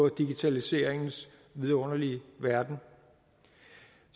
i digitaliseringens vidunderlige verden